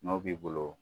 N'o b'i bolo